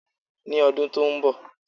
Ní ọdún tó n bọ̀